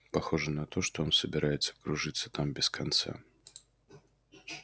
похоже на то что он собирается кружиться там без конца